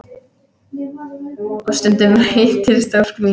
Og stundum rætist ósk mín.